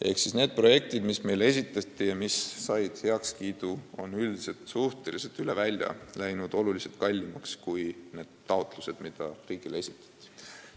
Ehk siis need projektid, mis meile esitati ja mis said heakskiidu, on üldiselt läinud märksa kallimaks, kui oli kirjas taotlustes, mis riigile esitati.